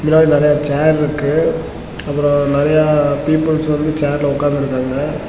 இதுல வந்து நறைய சேர் இருக்கு அப்ரோ நிறைய பீப்பிள்ஸ் வந்து சேர்ல உக்காந்து இருக்காங்க.